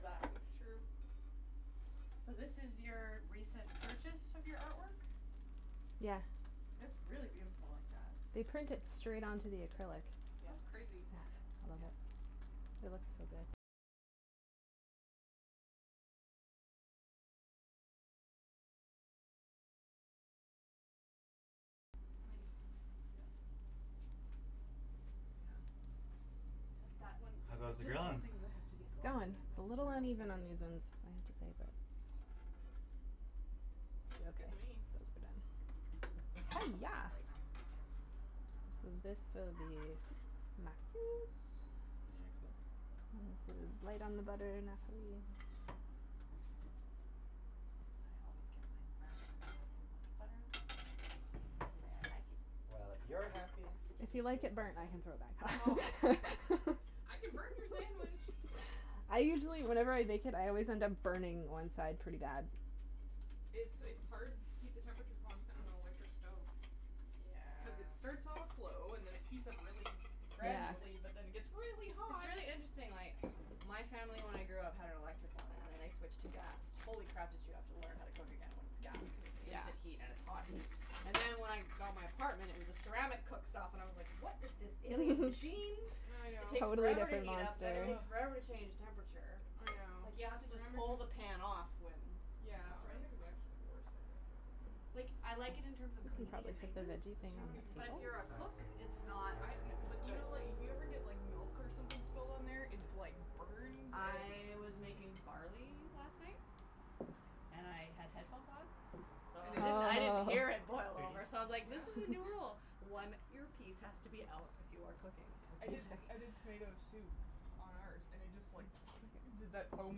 that that's true So this is your recent purchase of your artwork? Yeah It's really beautiful like that. They print it straight onto the acrylic. Yeah That's crazy. yeah Nice Yep Yeah But that one How like there's goes the just some grilling? things that have to be It's going. glossy and It's that a little material is so uneven on good for these that. ones, I have to say but Oh It's Looks good okay. to me! Those are done. Another Hiyah! plate So this will be Matthew's! And this is light on the butter enough for you I always get mine burnt cuz I don't put much butter on That's the way I like it. Well if you're happy It's If you delicious. then like it I'm burnt I can happy. throw it back on. I can burn your sandwich! I usually whenever I bake it I always end up burning one side pretty bad It's it's hard to keep the temperature constant on an electric stove. Cuz it Yeah starts off low, and then it heats up really It's Yeah gradually but then it gets really it's hot! really interesting like my family when I grew up had an electric one and then I switched to gas, holy crap did you have to learn how to cook again when it's gas cuz it's instant heat and it's hot heat And then when I got my apartment it was a ceramic cooktop and I was like "what is this alien machine?" I It know, takes Totally forever to different heat up then it monster ugh, takes forever to change temperature. I Just know like you have to just Ceramic pull is, the pan off whe it's yeah not right ceramic is actually the worst I think for cooking. Like I like it in terms We of could cleaning probably and fit the maintenance veggie thing But you don't on have any the but control if table. you're a cook, it's not Good Yeah but do idea. you good know like, if you ever get like milk or something spilled on there its like burns and I was sti making barley last night. And I had headphones on, so And it didn't I didn't hear it boil Oh! over so I was like "this Yeah is a new rule, one earpiece has to be out when you are cooking with I did music". I did tomato soup on ours and it just like did that foam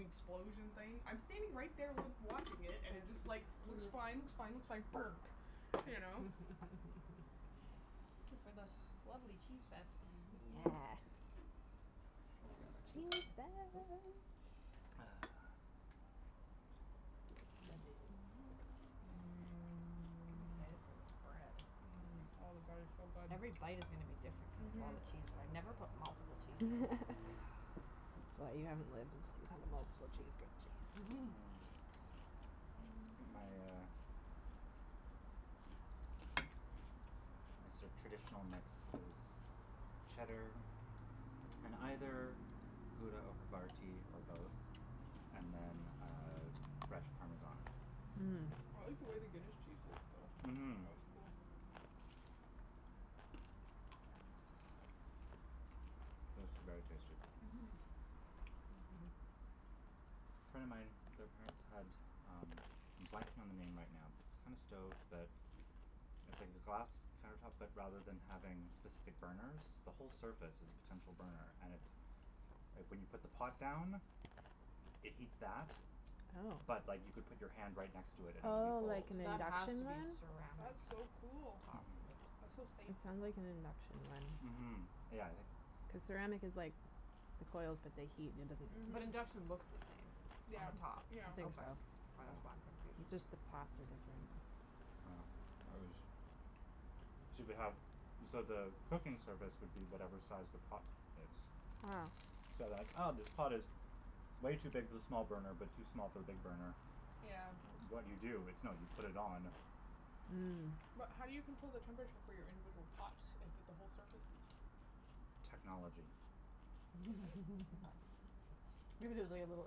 explosion thing, I'm standing right there loo watching it and it just like, looks fine looks fine looks fine...burp! You know? Thank you for the lovely cheese fest. Yeah Yeah Cheese fest! Mmm I'm excited Mmm for this bread. mmm, oh the bread is so good, Every bite is gonna to be different cuz of all mhm the cheese. I've never put multiple cheeses in. Ahh Well you haven't lived until you've had a multiple cheese grilled cheese. Mhm My uh Yes My sorta traditional mix is cheddar and either grouda or I havarti or both and then uh fresh parmesan. like the way the Guinness cheese looks though, it Mhm looks cool. mhm This is very tasty. Mhm A friend of mine, their parents had, um, I'm blanking on the name right now but it's the kinda stove that, it's like the glass counter tops but rather than having specific burners, the whole surface is a potential burner and it's like when you put the pot down, it heats that oh but like you could put your hand right next to it and it would be Oh, like cold. an That has induction to be one? ceramic That's so cool! top Mhm. That's so safe. It sound like an induction one, Mhm, yeah, I think cuz ceramic is like, the coils but they heat and it doesn't But Mhm. I think induction so. looks the same Yeah, on the top? yeah. Okay, k that's why I'm confused. It's just the path are different. Oh. Yeah. Yeah, it was so you could have, so the cooking surface would be whatever size the pot is. So then like ah, this pot is way too big for the small burner but too small for the big burner, Yeah. what do you do? It's no, you put it on. Mm. But how do you control the temperature for your individual pots, if at the whole surface is Technology. Okay. Maybe there's like a little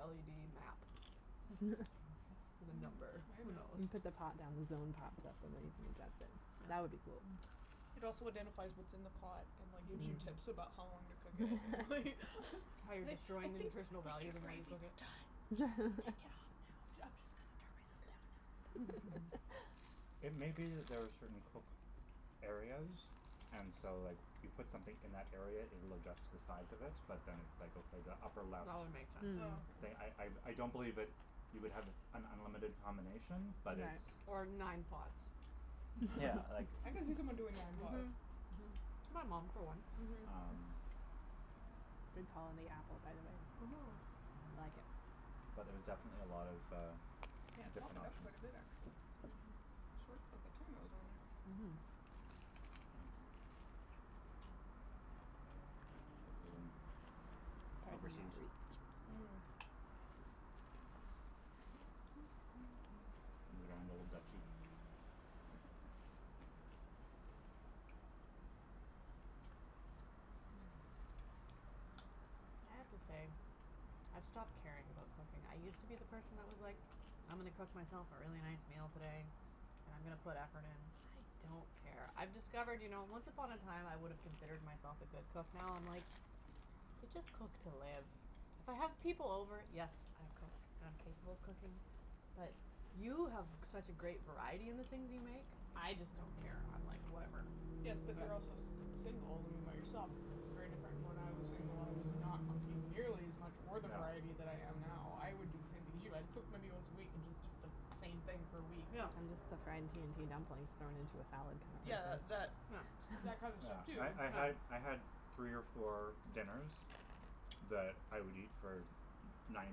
LED map with a Hmm. number. Maybe. Who knows? You put the pot down, the zone pops up and then you put your in. That would be cool. It also identifies what's in the pot, and like gives you tips about how long to cook it, and, like Yeah. like, "I How you're think, I destroying the think your nutritional value the more you gravy cook is it. done, just, take it off now, b- I'm just gonna turn myself down now, if that's okay." It may be that there are certain cook areas and so like, you put something in that area it will adjust to the size of it, but then it's like, okay the upper left. That would make sense. Oh But I, I, okay. I don't believe that you would have an unlimited combination, but it's Or nine pots. Yeah, like I can see someone doing nine pots. Mhm. Mhm. My mom, for one. Um Good call on the apple by the way. Mhm. Mhm. I like it. But there's definitely a lot of, uh, Yeah, it different softened up options. quite a bit actually Yes. considering how short of a time it was on there. Mhm. This was in overseas. Mm. In the Grand Old Duchy. I have to say, I've stopped caring about cooking. I used to be the person that was like, "I'm gonna cook myself a really nice meal today, and I'm gonna put effort in." I don't care. I've discovered you know, once upon a time I would've considered myself a good cook now I'm like, you just cook to live. If I have people over, yes, I cook, and I'm capable of cooking, but you have such a great variety in the things you make. I just don't care, I'm like, "Whatever." Yes Yeah. but they're also s- single, when you're by yourself it's very different. When I was single I was not cooking nearly as much or the variety that I am now. I would do the Yeah. same thing as you. I've cooked many once a week and just eat the same Yeah. thing for a week. I miss the fried T&T dumplings thrown Yeah. into a salad compressor. Yeah, that that kind of stuff too. Yeah, I'm sure I I had, I had, three or four Yeah. dinners, that I would eat for n- ninety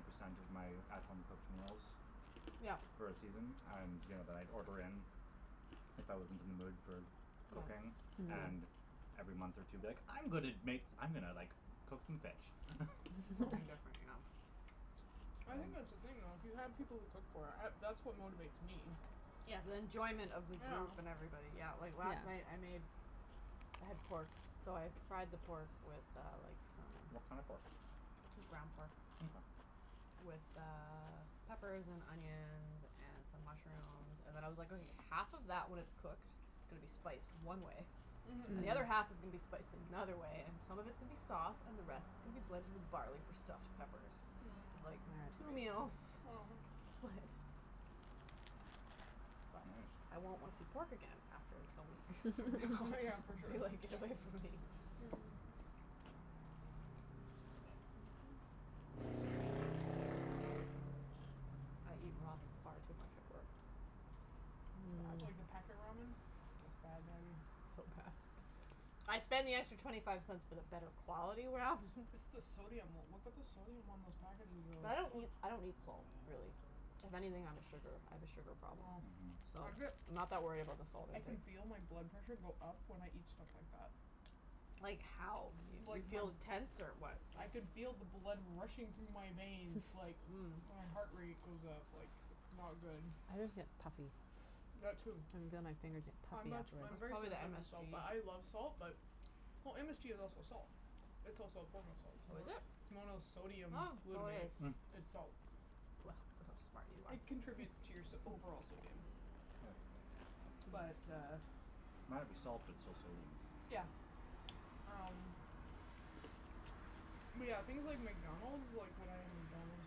percent of my at home cooked meals, Yeah. for a season, and, you know, that I'd order in. Yep. If I wasn't in the mood for cooking, and every month or two be like, "I'm gonna Yeah. make s- , I'm gonna like, cook some fish." Um Something different, Mhm. I think that's the thing though, if you had people to cook for, I, that's what motivates me. yeah. Yeah, the enjoyment of the group and Yeah. everybody. Yeah, like last night I made I had pork, so I fried the pork with uh like, some What kinda pork? Just ground pork Mkay. with uh, peppers and onions and some mushrooms and then I was like, okay half of that when it's cooked is gonna be spiced one way And Mhm. the other half is gonna be spiced in another way, and Mhm. some of it's gonna be sauce, and the rest is gonna be blended with barley for stuffed peppers. Mm. Like, two meals. Split. Right. But I won't wanna see pork again after a week, from now Yeah, for sure. be like, "Get away from me." Nice. Mhm. I eat ramen far too much at work. Yeah. Like the packet ramen? That's It's bad, Natty. bad. So Mm. bad. I spend the extra twenty five cents for the better quality ramen. It's the sodium, look at the sodium on those packages though. But I It's don't so eat, I don't eat salt, really. If anything, I'm a sugar, I have a sugar problem. Oh. So, I I'm bet not that worried about the salt I can intake. feel my blood pressure go up when I eat stuff like that. Like Like, Mhm. how? You, you the, feel tense or what? I can feel the blood rushing through my veins, like, my heart rate goes up, like, it's not good. I just get puffy. I That too. I'm puffy much, Mm. I'm That's afterwards. very probably the sensitive to salt MSG. but I love salt. But, well MSG is also salt. It's also a form of salt. It's Oh is mo- it? it's Oh, so monosodium glutamate. it is. Mm. It's Well, salt. look how smart you are. It contributes to your so- overall sodium. Yes. But uh Might be salt, but it's still sodium. Yeah. Um yeah, things like McDonald's, like when I have McDonald's,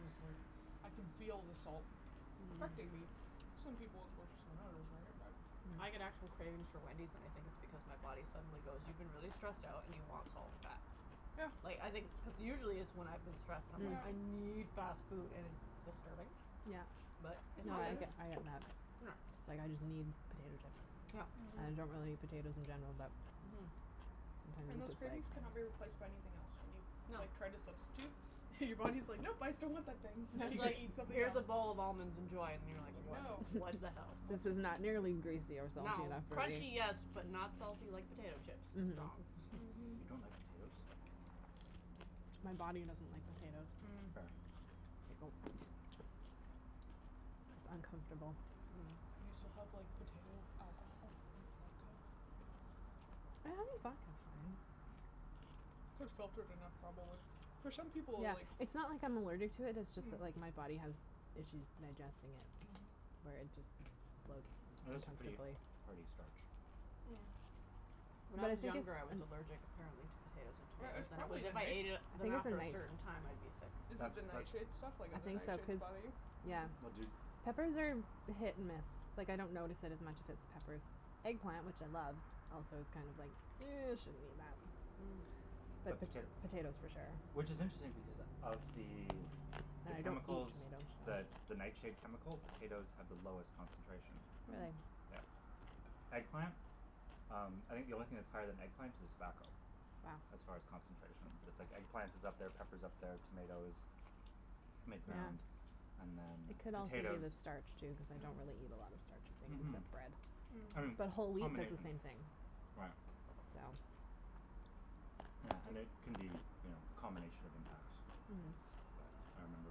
it's like, I can feel the salt, affecting me. Some people it's worse than others, right? Mm. I get Mm. actual cravings for Wendy's and I think it's because my body suddenly goes, "You've been really stressed out and you want salt and fat." Yeah. Like, I think cuz usually it's when I've been stressed and I'm like, Yeah. "I need fast food," and it's disturbing? Mm. Yeah, But it yeah I happens. get I get mad. Yeah. Like, I just need potato Yep. chips, and Mhm. I don't really eat potatoes in general, but Mhm. And Sometimes those it's just cravings cannot like be replaced by anything else, when you, No. like, try to substitute and your body's like, "Nope! I still want that thing." "Now you It's gotta like, eat something "Here's a else." bowl of almonds, enjoy." And you're like, "What? No. What the hell?" "This is not nearly greasy or salty No. enough for Crunchy, me." Mhm. yes, but not salty like potato chips. It's wrong. Mhm. You don't like potatoes? My body doesn't like potatoes. Mm. Fair. Oh. It's uncomfortable. You still have like potato alcohol? Like vodka? I have a vodka Those too you're gonna have trouble with. For some people, Yeah, like It's not like I'm allergic to it, it's just that Mm. like my body has issues digesting it. Mhm. Where it just bloats Potatoes are pretty uncomfortably. hearty starch. Mm. When I But I was think it's younger, I was allergic apparently to potatoes and Or tomatoes it's and it was probably if I ate it I then think it's a after a night certain time I'd be sick. Is it That's the that nightshade stuff? Like I other think so, nightshades cuz, bother you? yeah. But Mhm. do Peppers are hit and miss, like I don't notice it as much if it's peppers. Eggplant, which I love, also is kind of like, ew I shouldn't eat that. you But potato Potatoes for sure. Which is interesting because of the the I chemicals, the don't the nightshade eat chemical? Potatoes have the potatoes. lowest concentration. Mm. Really? Yeah. Eggplant? Um, I think the only thing that's higher than eggplant is tobacco. Wow. As far as concentration, but it's like eggplant is up there, pepper's up there, tomatoes, mid-ground, and then It could also be the potatoes. starch too, cuz I con't really Mm. eat a lot of starchy things Mhm. except bread, Mhm. but whole wheat does the Combination. same thing. Right. So. Yeah, and it Tristan. can be you know, a combination of impacts. Mhm. But I remember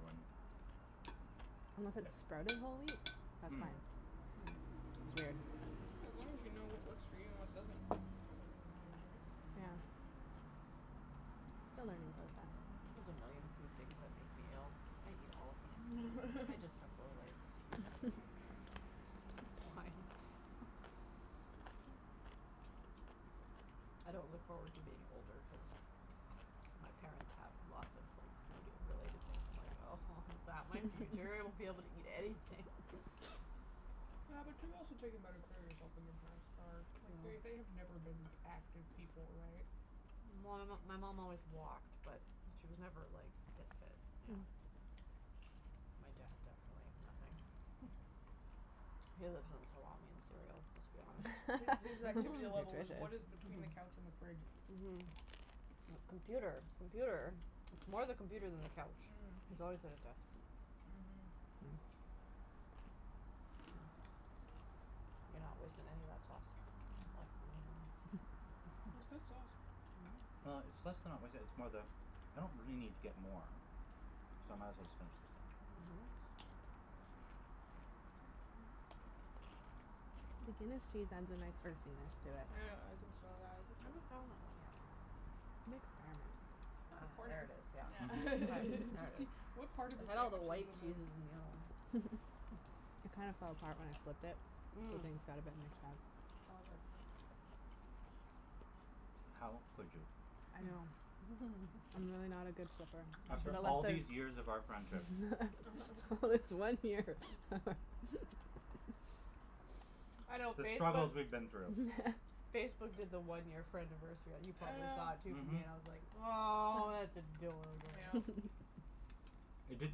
when Unless it's sprouting whole wheat? That's Mm. fine. It's weird. Yeah, as long as you know what works for you and what doesn't. That's all that really matters, right? Yeah. It's a learning process. Mhm. There's a million food things that make me ill. I eat all of them. I just have Rolaids. Why? I don't look forward to being older cuz my parents have lots of like, food related things, and like oh Is that my future? I won't be able to eat anything. Yeah but you've also taken better care of yourself than your parents are, like, they they have never been active people, right? Well Well my my mom always walked, but she was never like fit fit, yeah. Mm. My dad definitely, nothing. He lives on salami and cereal, let's be honest. His his activity level was what Nutritious. is between the couch and the fridge. Mhm. Mhm. Mhm. Computer, Mhm. computer, it's more the computer than the couch. Mm. He's always at his desk. Mhm. Mhm. You're not wasting any of that sauce. That's good sauce. Well, it's less than not wasting it, it's more the I don't really need to get more, so I might as well just finish this up. Mhm. The Guinness cheese has a nice earthiness to it. I know, I think so, yeah I think I haven't found that one yet. It looks burnt. I got a Ah, there corner. it is. Yeah. All Yeah. Mhm. right, there it Just i see, s. what part of the I had all the sandwich is white with a cheeses in the other one. It kinda fell apart when I flipped it? Mm. Mm. Flippings got a bit mixed up. All good. How could you? I know. I'm really not a good flipper. After all these years of our friendship. This one year. I know The struggles Facebook's we've been through. Facebook did the one year friendiversary you probably saw it Yeah. too for me, Mhm. and I was like, "Aw, that's adorable." Mm yeah. It did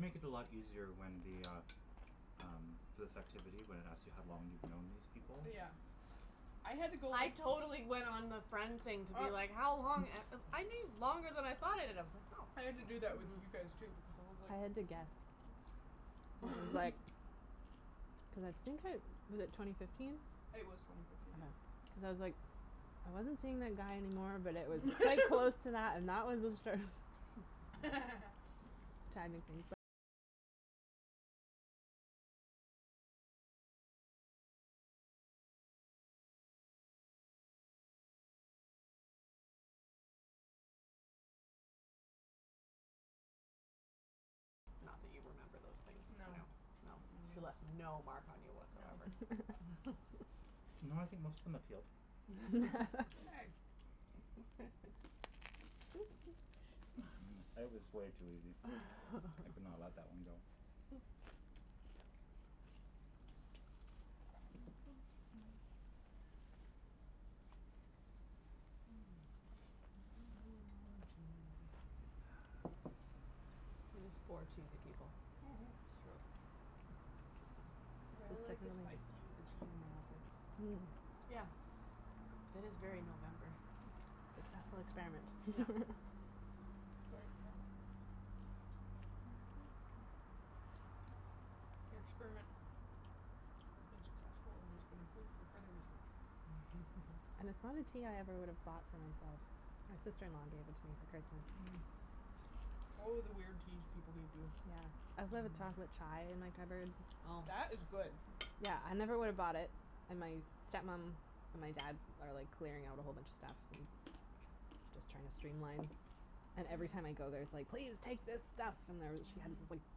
make it a lot easier when the, ah, um, this activity when it asks you how long you've known these people? Yeah. I had to go I totally went on the friend Well, thing to be like, how long, a- u- I knew longer than I thought I did. I was like Oh. I had to do that with you guys, too, because it was like I had to guess. It What? was like. Cuz I think I was it twenty fifteen? It was twenty fifteen, yes. Cuz I was like, I wasn't seeing that guy anymore, but it was quite close to that, and that was obstruct Not that you remember those things, no, no. She left no mark on you whatsoever. No. No, I think most of them have healed. Hey. It was way too easy, I could not let that one go. Mm, cheesy. We're just four cheesy people. Mhm. It's I really like the spiced tea with true. the cheese and the apples, it's Mm. like Yeah, so good. that is very November. Successful Yep. experiment. Your experiment has been successful and has been approved for further research. And it's not a tea I ever would have bought Mhm. for myself, my sister in law gave it to me for Christmas. Mhm. Oh, the weird teas people people give you. Yeah. I still have a chocolate chai in my cupboard. Oh. That was good. Yeah, I never would have bought it, and my step mom and my dad are like clearing out a whole bunch of stuff and just trying to stream line And every Mhm. time I go there it's like, "Please take this stuff!" And there she had this like Mhm.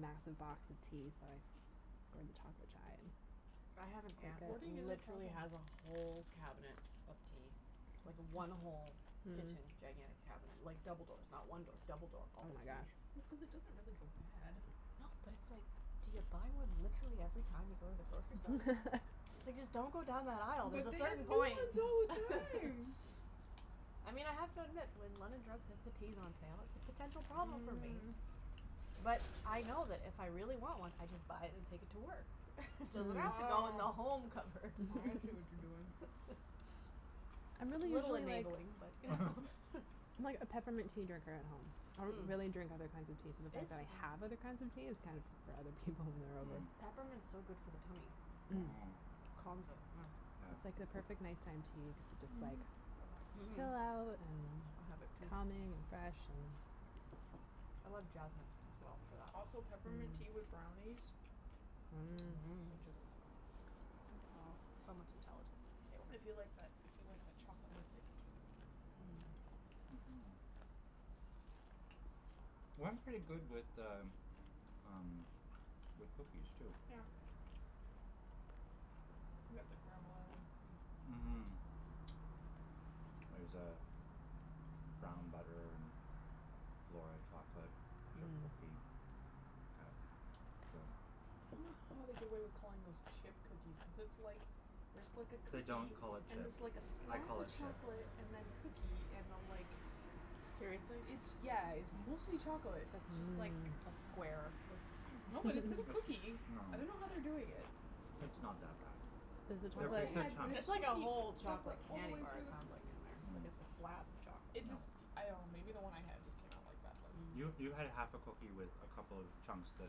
massive box of tea so I scored the chocolate chai. I have an aunt that Hoarding is a trouble. literally has a whole cabinet of tea. Like, one whole kitchen gigantic cabinet like, double doors not one door, double door. All of tea. Well, cuz it doesn't really go bad. No but it's like, do you buy one literally every time you go to the grocery store? Like just don't go down that aisle, there's But a they have certain new point! ones all the time! I mean I have to admit when London Drugs has the teas on sale, it's a potential Mhm problem for me. mhm. But I know that if I really want one I just buy it and take it to work. Doesn't have to go in the Oh. home cupboard. I see what you're doing. I'm It's a really little usually like enabling, but I'm like a peppermint tea drinker at home. I don't Mm. really drink other kinds of teas so I don't have other kinds of tea is kind of for other people when they're over. It's Peppermint's so good for the tummy. Mm. Mm. Mmm. Calms it, yeah. I It's like Yeah. the perfect night time tea, cuz it just like Mhm. Relaxes me. Chill out and have have it, it too. calming, and fresh and I love jasmine, as well, for that. Also peppermint tea with brownies. Mm. Mmm. Mmm. Such a good thing. So much intelligence at this table. I feel like that, I feel like that chocolate chocolate mint thing which I do. Mhm. Well it's pretty good with the, um, with cookies too. Yeah. Can get the Granville Island cookies. Mmm. There's uh, brown butter and flora chocolate chip cookie at Mmm. the I dunno how they get away with calling those chip cookies cuz it's like, there's like a They cookie don't call it and chip. it's like a I slab call of it chip. chocolate, and then cookie, and then like, Mmm. Seriously? it's, yeah, it's mostly chocolate. Mmm. No, but it's in a cookie. It's, no. I dunno how they do it yet. It's not that bad. The They're one I big, big had, when chunks. the It's like a cookie whole chocolate chocolate all the candy way bar through it the c- sounds like, in there. Like it's a slab of chocolate. It Mm. No. just, I dunno maybe the one I had just came out like that but You, you had a half a cookie with a couple of chunks that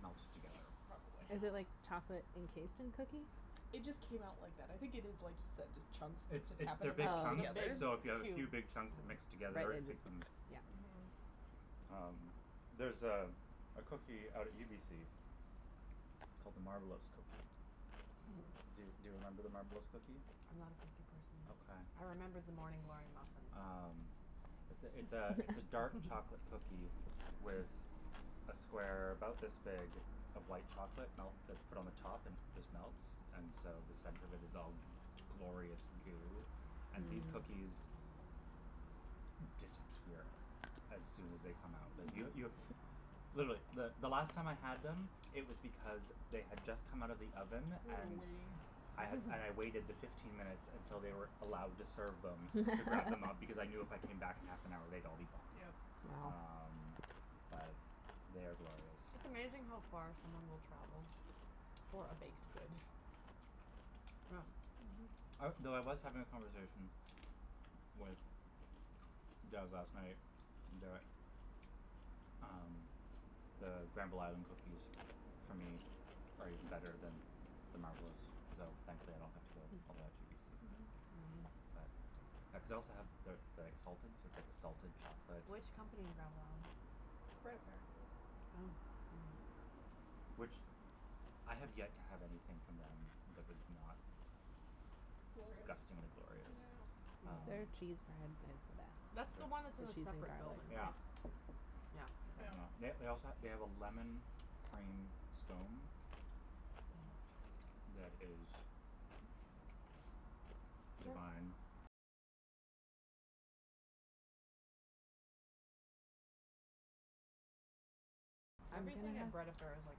melted together. Probably. Is it like chocolate encased in cookie? It just came out like that, I think it is just like you said, just chunks that It's just it's happened they're to big melt chunks, together. so if you have a Oh. few big chunks that mix It's together becomes Mhm. like Um, there's uh, a a cookie out at UBC big called the Marbleous cookie. cube. Do, do you remember the Marbleous cookie? I'm not a cookie person. Okay. I remember the Morning Glory muffins. Um, it's th- it's a it's a dark chocolate cookie with a square about this big of white chocolate melt that's put on the top and it just melts and so the center of it is all glorious Mm. goo, and these cookies, disappear as soon as they come out. Yo- Mhm. You You were literally the the last time I had them it was because they had just come out of the oven and waiting. I had and I waited the fifteen minutes until they were allowed to serve them to grab them up because I knew if I came back in half an hour they'd all be gone. Yep. Wow. Um, but they are glorious. It's amazing how far someone will travel for a baked good. Yeah. Mhm. I well, I was having a conversation with Jas last night that um, the Granville Island cookies for me are even better than the Marbleous, so thankfully I don't have to go all the way out to UBC. Mhm. But I cuz I also have the the exalted so it's like a salted Mm. chocolate Which company in Granville Island? Bread affair. Oh. Oh. Hmm. Mm. Which, I have yet to have anything from them that was not Glorious. disgustingly glorious. Yeah. Their cheese Um, bread is the best. is That's the one that's The in a cheese and it? separate building, garlic. right? Yeah. Yeah. Yep. They they also ha- they have a lemon cream scone that is Everything at Bread Affair is like